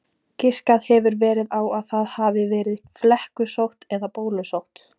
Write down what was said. Giskað hefur verið á að það hafi verið flekkusótt eða bólusótt.